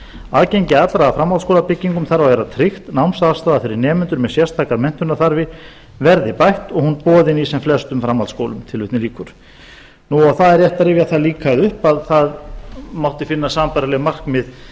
aðgengi allra að framhaldsskólabyggingum þarf að vera tryggt námsaðstaða fyrir nemendur með sérstakar menntunarþarfir verði bætt og hún boðin í sem flestum framhaldsskólum tilvitnun lýkur það er rétt að rifja það líka upp að það mátti finna sambærileg markmið